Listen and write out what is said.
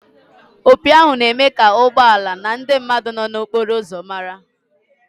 Opi ahụ na-eme ka ụgbọ ala na ndị mmadụ nọ n'okporo ụzọ mara.